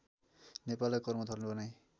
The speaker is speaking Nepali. नेपाललाई कर्मथलो बनाई